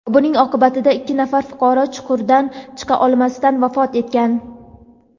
Buning oqibatida ikki nafar fuqaro chuqurdan chiqa olmasdan vafot etgan.